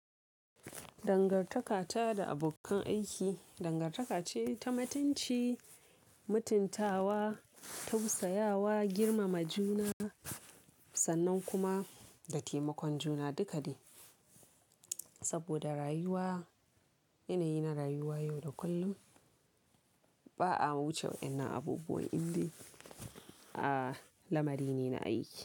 Dangartaka ta da abokan aiki, dangartaka ce ta mutunci, mutuntawa, tausayawa, girmama juna, sannan kuma da taimakon juna dukade. Saboda rayuwa, yanayi na rayuwa yau da kullum, ba a wuce wa'inna abubuwan indai, a lamari ne na aiki.